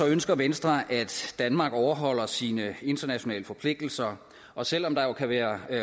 ønsker venstre at danmark overholder sine internationale forpligtelser og selv om der jo kan være